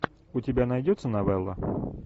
у тебя найдется новелла